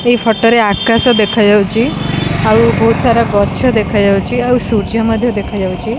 ଏହି ଫଟ ରେ ଆକାଶ ଦେଖାଯାଉଛି ଆଉ ବୋଉତ୍ ସାରା ଗଛ ଦେଖାଯାଉଛି ଆଉ ସୂର୍ଯ୍ୟ ମଧ୍ୟ ଦେଖାଯାଉଛି।